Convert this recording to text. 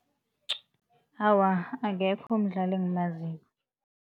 Awa, akekho umdlali engimaziko.